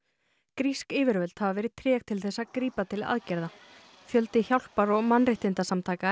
grísk yfirvöld hafa verið treg til þess að grípa til aðgerða fjöldi hjálpar og mannréttindasamtaka